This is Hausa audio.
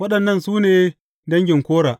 Waɗannan su ne dangin Kora.